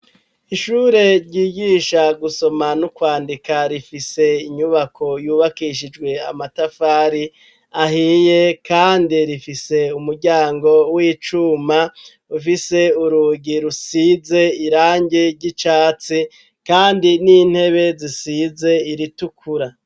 Ishure ryigisha gusoma n'ukwandika, rifise inyubako yubakishijwe amatafari ahiye, kandi rifise umuryango w'icuma ufise urugi rusize irange ry'icatsi kandi n'intebe zisize iritukura